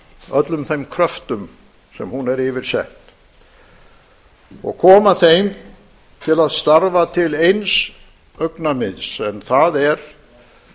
öllum þeim kröptum sem hún er yfir sett og koma þeim til að starfa til eins augnamiðs en það er